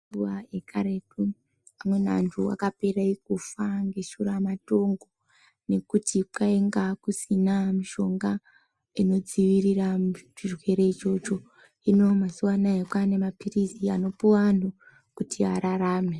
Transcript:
Nguwa yekaretu amweni antu akapera kufa neshura matongo ngekuti kwainga kusina mishonga inodzivirira vantu muchirwere ichocho hino mazuva ano kwane mapirizi anopuwa vantu kuti ararame.